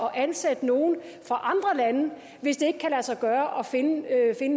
at ansætte nogle fra andre lande hvis det ikke kan lade sig gøre at finde